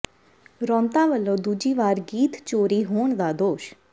ਰੌਂਤਾ ਵੱਲੋਂ ਦੂਜੀ ਵਾਰ ਗੀਤ ਚੋਰੀ ਹੋਣ ਦਾ ਦੋਸ਼